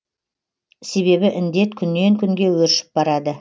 себебі індет күннен күнге өршіп барады